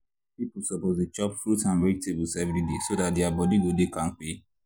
people suppose dey chop fruit and vegetables every day so dat their body go dey kampe.